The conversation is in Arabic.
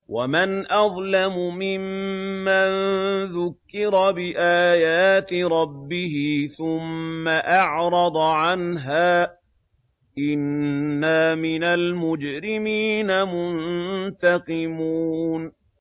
وَمَنْ أَظْلَمُ مِمَّن ذُكِّرَ بِآيَاتِ رَبِّهِ ثُمَّ أَعْرَضَ عَنْهَا ۚ إِنَّا مِنَ الْمُجْرِمِينَ مُنتَقِمُونَ